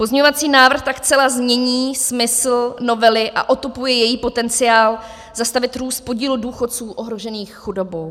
Pozměňovací návrh tak zcela změní smysl novely a otupuje její potenciál zastavit růst podílu důchodců ohrožených chudobou.